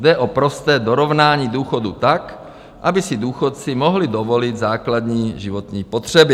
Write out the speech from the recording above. Jde o prosté dorovnání důchodů tak, aby si důchodci mohli dovolit základní životní potřeby.